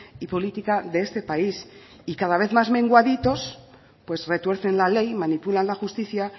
y política de este país y cada vez más menguaditos pues retuercen la ley manipulan la justicia